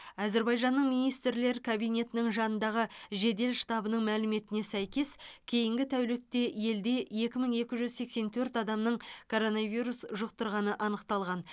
әзербайжанның министрлер кабинетінің жанындағы жедел штабының мәліметіне сәйкес кейінгі тәулікте елде екі мың екі жүз сексен төрт адамның коронавирус жұқтырғаны анықталған